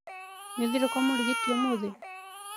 Nĩ ũthire kwa mũrigiti ũmũthi?